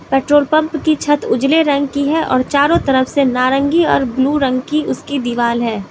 Petrol pump की छत उजले रंग की है और चारों तरफ से नारंगी और ब्लू रंग की उसकी दीवाल है।